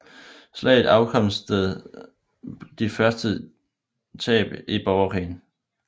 Slaget afstedkom de største tab i hele Borgerkrigen